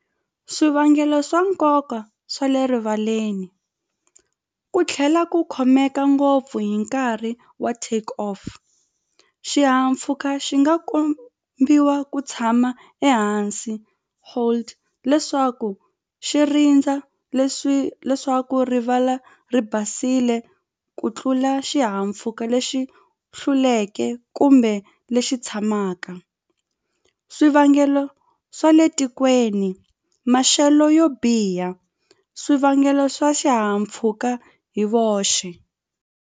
Swivangelo swa nkoka swa le rivaleni ku tlhela ku khomeka ngopfu hi nkarhi wa take off xihahampfhuka xi nga kombiwa ku tshama ehansi hold leswaku xi rindza leswi leswaku rivala ri basile ku tlula xihahampfhuka lexi hluleke kumbe lexi tshamaka swivangelo swa le tikweni maxelo yo biha swivangelo swa xihahampfhuka hi voxe.